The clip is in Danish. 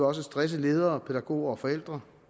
også stresse ledere pædagoger og forældre